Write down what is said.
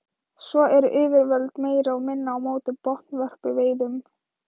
Svo eru yfirvöld meira og minna á móti botnvörpuveiðum.